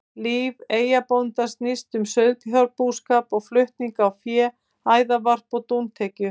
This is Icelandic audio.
Líf eyjabóndans snýst um sauðfjárbúskap og flutning á fé, æðarvarp og dúntekju.